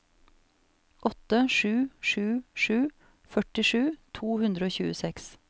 åtte sju sju sju førtisju to hundre og tjueseks